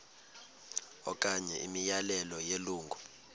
okanye imiyalelo yelungu